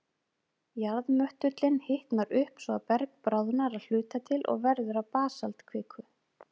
Jarðmöttullinn hitnar upp, svo að berg bráðnar að hluta til og verður að basaltkviku.